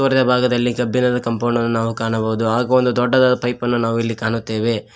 ಮೆಲ್ಬಗದಲ್ಲಿ ಕಬ್ಬಿಣದ ಕಾಂಪೌಂಡ ನ್ನು ಕಾಣಬಹುದು ಹಾಗು ಒಂದು ದೊಡ್ಡದಾದ ಪೈಪನ್ನು ನಾವು ಇಲ್ಲಿ ಕಾಣುತ್ತೆವೆ.